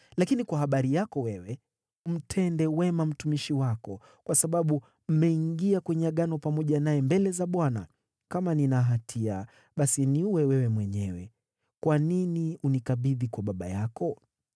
Lakini kwa habari yako wewe, mtende wema mtumishi wako, kwa sababu mmeingia kwenye agano pamoja naye mbele za Bwana . Kama nina hatia, basi niue wewe mwenyewe! Kwa nini unikabidhi kwa baba yako?”